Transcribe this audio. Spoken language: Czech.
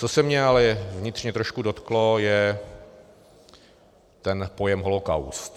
Co se mě ale vnitřně trošku dotklo, je ten pojem holocaust.